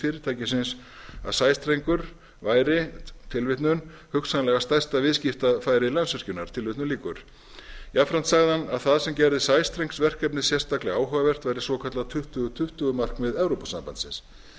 fyrirtækisins að sæstrengur væri hugsanlega stærsta viðskiptatækifæri landsvirkjunar jafnframt sagði hann að það sem gerði sæstrengsverkefnið sérstaklega áhugavert væri svokallað tuttugu tuttugu markmið evrópusambandsins